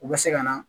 U bɛ se ka na